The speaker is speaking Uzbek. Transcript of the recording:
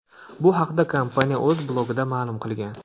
Bu haqda kompaniya o‘z blogida ma’lum qilgan .